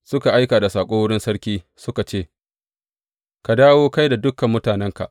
Suka aika da saƙo wurin sarki suka ce, Ka dawo, kai da dukan mutanenka.